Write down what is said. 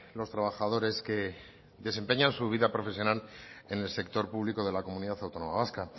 los trabajadores que desempeñan su vida profesional en el sector público de la comunidad autónoma vasca